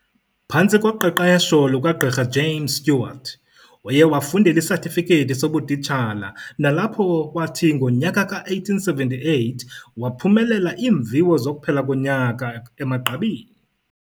Phantsi koqeqesho lukaGqirha James Stewart, uye wafundela isatifiketi sobutitshala nalapho wathi ngonyaka ka-1878 waphumelela iimviwo zokuphela konyaka emagqabini.